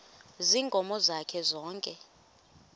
ziinkomo zakhe zonke